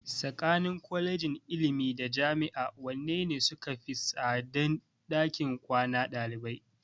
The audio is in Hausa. Tsakanin Kwalejin ilimi da Jami'a wanne ne sukafi tsadan ɗakin kwanan ɗalibai?